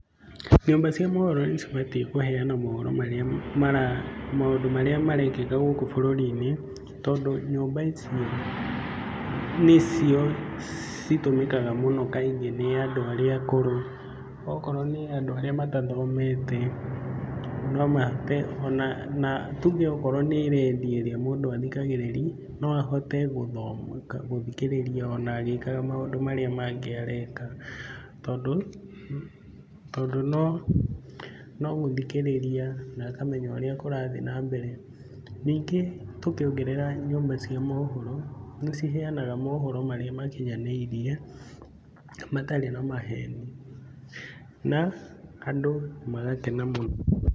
Nyũmba cia mohoro nĩcibatiĩ kũheana mohoro marĩa mara maũndũ marĩa marekĩka gũkũ bũrũri-inĩ, tondũ nyũmba icio nĩcio citũmĩkaga mũno kaingĩ nĩ andũ arĩa akũrũ, okorwo nĩ andũ arĩa matathomete no mahote ona na tuge akorwo nĩ redio ĩrĩa mũndũ athikagĩrĩria, no ahote gũthoma gũthikĩrĩria ona agĩkaga maũndũ marĩa mangĩ areka, tondũ tondũ no no gũthikĩrĩria na akamenya ũrĩa kũrathiĩ na mbere. Ningĩ tũngĩongerera nyũmba cia mohoro nĩciheanaga mohoro marĩa makinyanĩirie matarĩ na maheni na andũ magakena mũno.